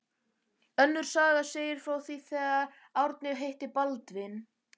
Önnur saga segir frá því þegar Árni hitti Baldvin